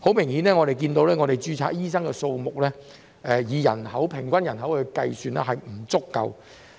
很明顯，本港註冊醫生的數目，以平均人口計算，並不足夠。